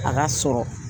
A ka sɔrɔ